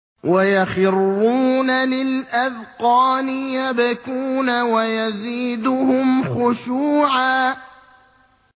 وَيَخِرُّونَ لِلْأَذْقَانِ يَبْكُونَ وَيَزِيدُهُمْ خُشُوعًا ۩